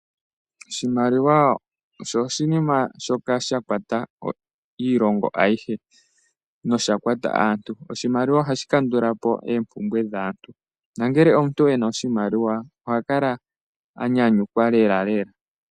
Oshimaliwa osho oshinima shoka sha kwata iilongo ayihe nosha kwata aantu. Oshimaliwa ohashi kandula po oompumbwe dhaantu, nongele omuntu e na oshimaliwa, oha kala a nyanyukwa lelalela.